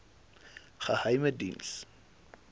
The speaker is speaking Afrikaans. geheimediens